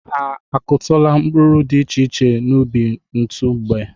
Ha akụtụla mkpụrụ dị iche iche n'ubi n'otu mgbe?